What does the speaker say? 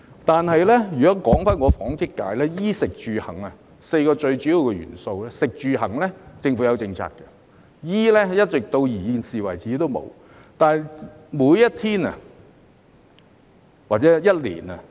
但是，如果說起我代表的紡織界，在"衣、食、住、行 "4 個最主要的元素之中，政府對"食、住、行"已有政策，但對於"衣"，至今仍然沒有。